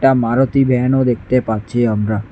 মারুতি ভ্যানও দেখতে পাচ্ছি আমরা।